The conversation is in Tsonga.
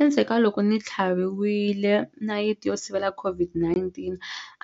Endzheku ka loko ni tlhaviwile nayiti yo sivela COVID-19